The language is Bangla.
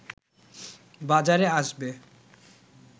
বাজারে আসবে